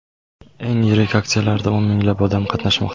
Eng yirik aksiyalarda o‘n minglab odam qatnashmoqda.